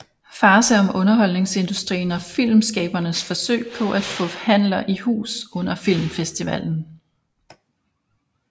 Farce om underholdningsindustrien og filmskabernes forsøg på at få handler i hus under filmfestivalen